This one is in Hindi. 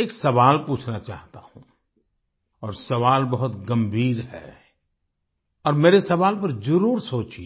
एक सवाल पूछना चाहता हूँ और सवाल बहुत गंभीर है और मेरे सवाल पर जरुर सोचिये